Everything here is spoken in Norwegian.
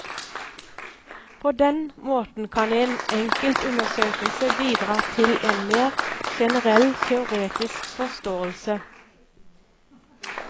På den måten kan en enkelt undersøkelse bidra til en mer generell teoretisk forståelse.